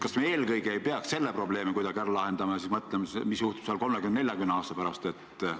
Kas me ei peaks eelkõige seda probleemi kuidagi ära lahendama ja alles siis mõtlema, mis juhtub 30–40 aasta pärast?